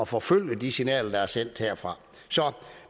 forfølge de signaler der er sendt herfra så